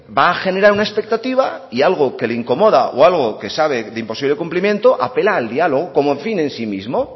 va a generar una expectativa y algo que le incomoda o algo que sabe de imposible cumplimiento apela al diálogo como fin en sí mismo